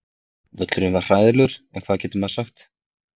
Völlurinn var hræðilegur en hvað getur maður sagt?